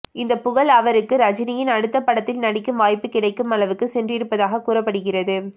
இந்த புகழ் அவருக்கு ரஜினியின் அடுத்த படத்தில் நடிக்கும் வாய்ப்பு கிடைக்கும் அளவுக்கு சென்றிருப்பதாக கூறப்படுகிறது